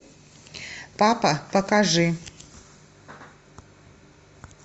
папа покажи